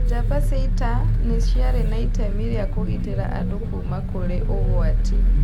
Njamba cia ita nĩ ciarĩ na itemi rĩa kũgitĩra andũ kuuma kũrĩ ũgwati